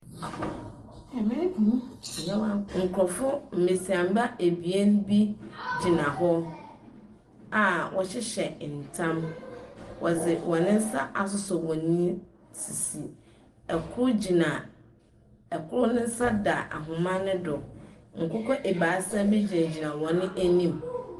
Yɛwɔ nkurɔfoɔ mbesiamba ebien bi gyina hɔ a wɔhyehyɛ ntam. Wɔdze wɔn nsa asosɔ wɔn sisi. Kor gyina kor no nsa da ahoma no do. Nkokɔ ebaasa bi gyinagyina wɔn anim.